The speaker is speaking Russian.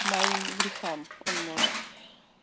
моим грехам он может